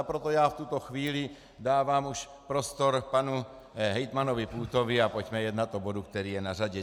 A proto já v tuto chvíli dávám už prostor panu hejtmanovi Půtovi a pojďme jednat o bodu, který je na řadě.